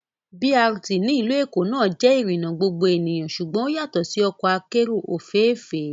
BRT ní ìlú Èkó náà jẹ́ ìrìnà gbogbo ènìyàn ṣùgbọ́n ó yàtọ̀ sí ọkọ akérò òféèfé